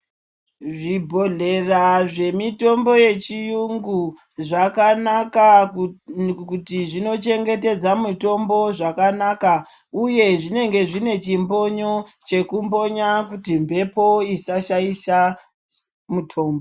Zvibhodhlera zvemitombo yechiyungu zvakanaka kuti zvinochengetedza mutombo zvakanaka uye zvee zvinenge zvine chimbonyo chekumbonya kuti mbepo kuti isa shaisha mutombo.